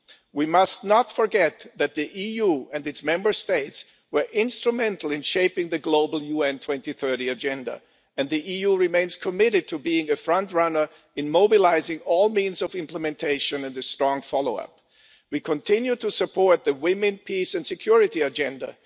We must not forget that the EU and its Member States were instrumental in shaping the global UN 2030 agenda, and the EU remains committed to being a front runner in mobilising all means of implementation and ensuring strong follow up. We continue to support the Women, Peace and Security Agenda.